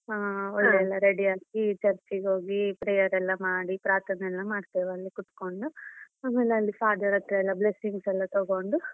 ಹಾ ಒಳ್ಳೆ ready ಆಗಿ church ಗೆ ಹೋಗಿ prayer ಎಲ್ಲ ಮಾಡಿ ಪ್ರಾರ್ಥನೆ ಎಲ್ಲ ಮಾಡ್ತೇವೆ ಅಲ್ಲಿ ಕುತ್ಕೊಂಡು ಆಮೇಲೆ ಅಲ್ಲಿ father ಹತ್ರ ಎಲ್ಲ blessings ಎಲ್ಲ ತಗೊಂಡು.